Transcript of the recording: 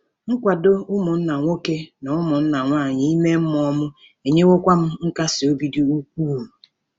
Nkwado ụmụnna nwoke na ụmụnna nwanyị ime mmụọ m enyewokwa m nkasi obi dị ukwuu.